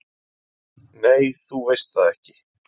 """Nei, þú veist það ekki."""